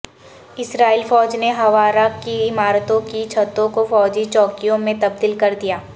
اسرائیلی فوج نے ہوارا کی عمارتوں کی چھتوں کو فوجی چوکیوں میں تبدیل کر دیا